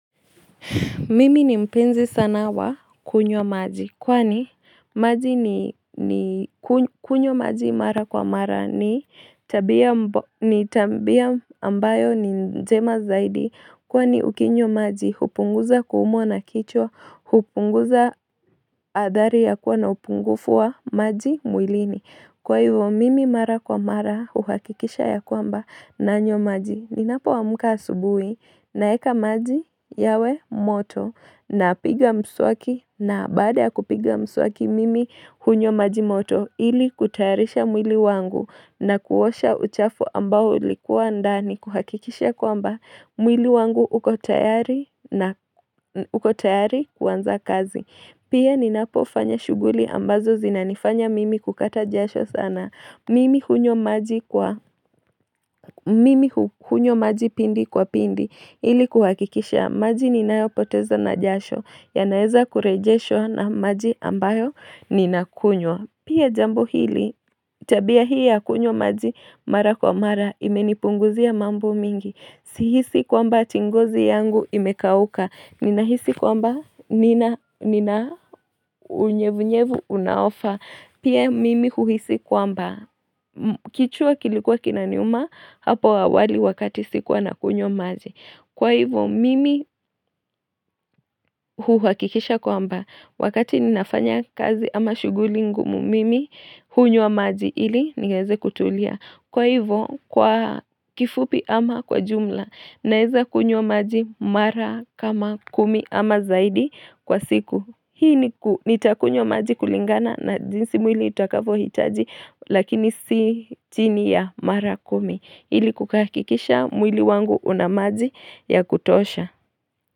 Mimi ni mpenzi sana wa kunyo maji kwani maji ni kunywa maji mara kwa mara ni tabia ambayo ni njema zaidi kwani ukinyo maji upunguza kuumwa na kichwa, upunguza adhari ya kuwa na upungufu wa maji mwilini. Kwa hivo mimi mara kwa mara uhakikisha ya kwamba nanywa maji ni napoamka asubui na eka maji yawe moto na piga msuaki na baada ya kupiga msuaki mimi hunywa maji moto ili kutayarisha mwili wangu na kuosha uchafu ambao ulikuwa ndani kuhakikisha kwamba mwili wangu uko tayari kuaanza kazi. Pia ninapo fanya shughuli ambazo zinanifanya mimi kukata jasho sana. Mimi kunywa maji pindi kwa pindi ili kuhakikisha maji ninayo poteza na jasho yanaeza kurejesho na maji ambayo ninakunywa. Pia jambu hili, tabia hii ya kunyo maji mara kwa mara, imenipunguzia mambo mingi, sihisi kwamba eti ngozi yangu imekauka, nina hisi kwamba, nina unyevunyevu unaofa, pia mimi huhisi kwamba, kichwa kilikuwa kinaniuma, hapo awali wakati sikuwa na kunyo maji Kwa hivo mimi huwakikisha kwamba wakati ninafanya kazi ama shughuli ngumu mimi hunywa maji ili niweze kutulia. Kwa hivo kwa kifupi ama kwa jumla naeza kunywa maji mara kama kumi ama zaidi kwa siku. Hii nitakunywa maji kulingana na jinsi mwili itakavyo hitaji lakini si chini ya mara kumi ili kukahikisha mwili wangu unamaji ya kutosha.